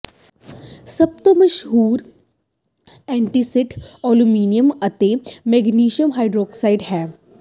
ਸਭ ਤੋਂ ਮਸ਼ਹੂਰ ਐਂਟੀਸਿਡ ਅਲਮੀਨੀਅਮ ਅਤੇ ਮੈਗਨੇਸ਼ੀਅਮ ਹਾਈਡ੍ਰੋਕਸਾਈਡ ਹੈ